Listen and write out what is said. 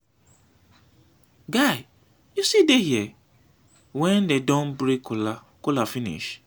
guy you still dey here wen dey don break kola finish.